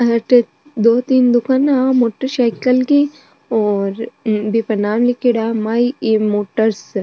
अठे दो तीन दुकाना मोटर साइकल की और बीपे नाम लीखेड़ो है माही इ मोटर साइकल --